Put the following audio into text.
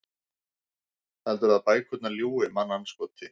Heldurðu að bækurnar ljúgi, mannandskoti?